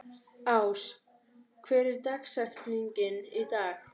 Ás, hver er dagsetningin í dag?